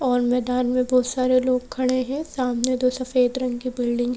और मैदान मे बहोत सारे लोग खडे है सामने दो सफेद रंग की बिल्डिंग --